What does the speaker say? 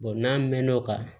n'an mɛɛn'o kan